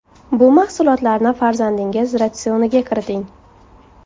Bu mahsulotlarni farzandingiz ratsioniga kiriting.